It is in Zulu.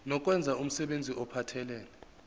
nokwenza umsebenzi ophathelene